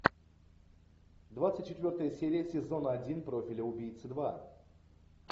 двадцать четвертая серия сезона один профиля убийцы два